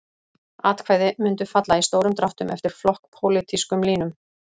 Atkvæði mundu falla í stórum dráttum eftir flokkspólitískum línum.